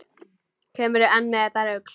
Kemurðu enn með þetta rugl!